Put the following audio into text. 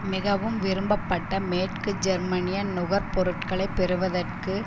மிகவும் விரும்பப்பட்ட மேற்கு ஜெர்மனிய நுகர்பொருட்களை பெறுவதற்கு